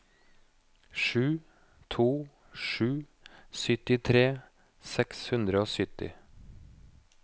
sju to sju to syttitre seks hundre og sytti